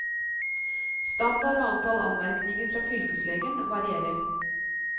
Standard og antall anmerkninger fra fylkeslegen varierer.